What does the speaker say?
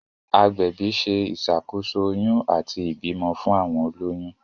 agbẹbi ṣe iṣàkóso oyún àti ibimọ fún àwọn oloyun.